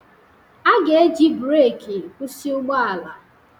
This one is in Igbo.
A ga-eji breeki kwụsị ụgbọ ala